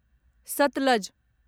Sutlej